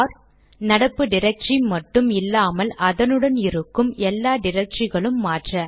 R நடப்பு directory மட்டும் இல்லாமல் அதனுள் இருக்கும் எல்லா டிரக்டரிகளும் மாற்ற